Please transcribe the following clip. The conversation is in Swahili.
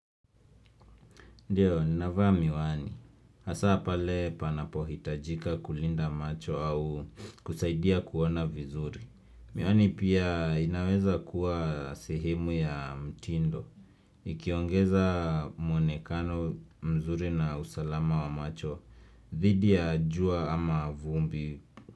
Ndio, ninavaa miwani. Hasa pale panapohitajika kulinda macho au kusaidia kuona vizuri. Miwani pia inaweza kuwa sehemu ya mtindo. Ikiongeza muonekano mzuri na usalama wa macho. Dhidi ya jua ama vumbi.